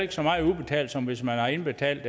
ikke så meget udbetalt som hvis man har indbetalt